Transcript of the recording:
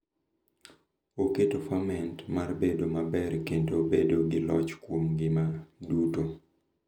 Oketo fundament mar bedo maber kendo bedo gi loch kuom ngima duto.